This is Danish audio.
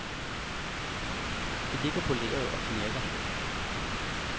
Det ligger på lageret og knirker.